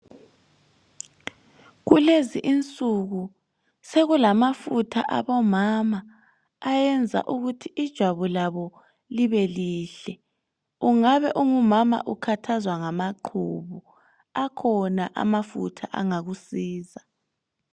Kulezi insuku sokulamafutha abomama ayenza ukuthi ijabu labo libelihle, ungabe ungumama ukhathazwa ngamaqhubu akhona amafutha angakusiza.